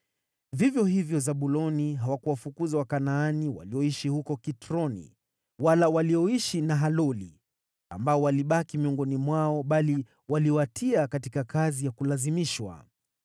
Vivyo hivyo Zabuloni hawakuwafukuza Wakanaani walioishi huko Kitroni, wala walioishi Nahaloli, ambao walibaki miongoni mwao; bali waliwatia katika kazi ya kulazimishwa.